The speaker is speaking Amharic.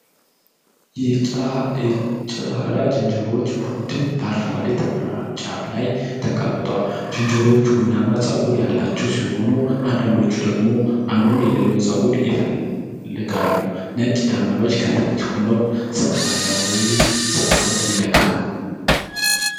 የጀላዳ ዝንጀሮዎች ቡድን በአረንጓዴ ተራራ ጫፍ ላይ ተቀምጧል። ዝንጀሮዎቹ ቡናማ ጸጉር ያላቸው ሲሆኑ አንዳንዶቹ ደግሞ አንዱ የሌላውን ጸጉር ይፈልጋሉ። ነጭ ደመናዎች ከታች ሆነው ሰማያዊውን ሰማይ ይነካሉ።